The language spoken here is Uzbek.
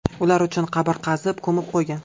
Ular uchun qabr qazib ko‘mib qo‘ygan.